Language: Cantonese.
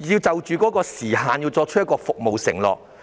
時限作出服務承諾？